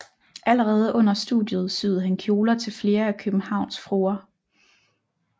Allerede under studiet syede han kjoler til flere af Københavns fruer